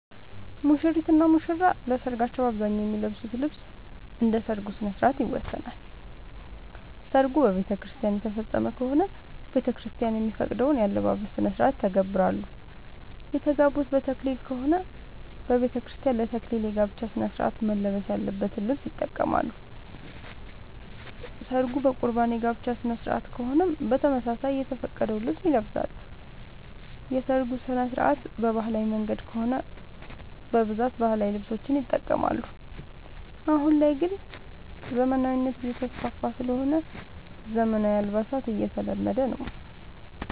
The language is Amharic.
ሙሽሪት እና ሙሽራ ለሰርካቸው በአብዛኛው የሚለብሱት ልብስ እንደ ሠርጉ ስነስርዓት ይወሰናል። ሰርጉ በቤተክርስቲያን የተፈፀመ ከሆነ ቤተክርስቲያን የሚፈቅደውን የአለባበስ ስነስርዓት ይተገብራሉ። የተጋቡት በተክሊል ከሆነ በቤተክርስቲያን ለ ተክሊል የጋብቻ ስነስርዓት መልበስ ያለበትን ልብስ ይጠቀማሉ። ሰርጉ በቁርባን የጋብቻ ስነስርዓት ከሆነም በተመሳሳይ የተፈቀደውን ልብስ ይለብሳሉ። የሰርጉ ስነስርዓት በባህላዊ መንገድ ከሆነ በብዛት ባህላዊ ልብሶችን ይጠቀማሉ። አሁን ላይ ግን ዘመናዊነት እየተስፋፋ ስለሆነ ዘመናዊ አልባሳት እየተለመደ ነው።